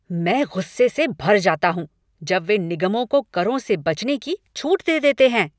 मैं गुस्से से भर जाता हूँ जब वे निगमों को करों से बचने की छूट दे देते हैं।